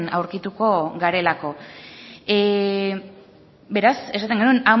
aurkituko garelako beraz esaten genuen